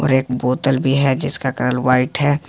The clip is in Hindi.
एक बोतल भी है जिसका कलर व्हाइट है।